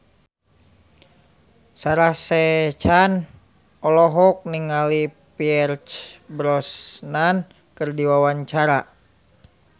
Sarah Sechan olohok ningali Pierce Brosnan keur diwawancara